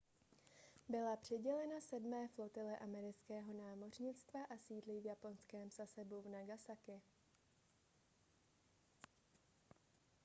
byla přidělena sedmé flotile amerického námořnictva a sídlí v japonském sasebu v nagasaki